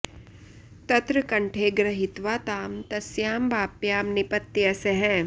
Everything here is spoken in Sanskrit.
तत्र कण्ठे गृहीत्वा तां तस्यां वाप्यां निपत्य सः